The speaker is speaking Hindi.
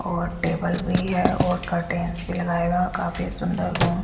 और टेबल भी हैं और कर्टेन्स भी लगाए हुए काफी सुंदर रूम --